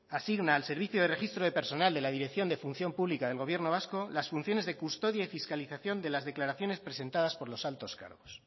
asigna al servicio de registro de personal de la dirección de función pública del gobierno vasco las funciones de custodia y fiscalización de las declaraciones presentadas por los altos cargos